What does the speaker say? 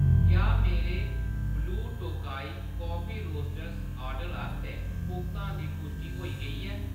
क्या मेरे Blue Tokai Coffee Roasters order आस्तै भुगतान दी पुश्टि होई गेई ऐ ?